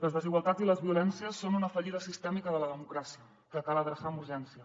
les desigualtats i les violències són una fallida sistèmica de la democràcia que cal adreçar amb urgència